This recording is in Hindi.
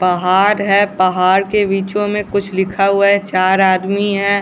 पहाड़ है पहाड़ के बीच में कुछ लिखा हुआ है चार आदमी है।